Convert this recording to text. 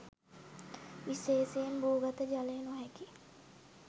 විශේෂයෙන් භූගත ජලය නොහැකි